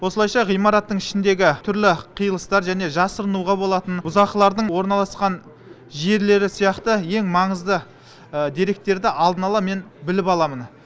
осылайша ғимараттың ішіндегі түрлі қиылыстар және жасырынуға болатын бұзақылардың орналасқан жерлері сияқты ең маңызды деректерді алдын ала мен біліп аламын